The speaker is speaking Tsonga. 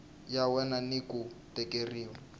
ya wena ni ku tekeriwa